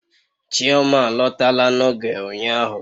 Chioma alọtala na oge ụnyahụ